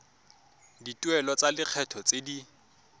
dituelo tsa lekgetho tse di